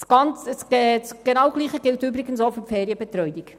Dasselbe gilt übrigens auch für die Ferienbetreuung.